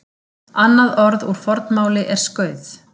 Annað orð úr fornmáli er skauð.